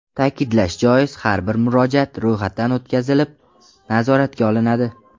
Ta’kidlash joiz, har bir murojaat ro‘yxatdan o‘tkazilib, nazoratga olinadi.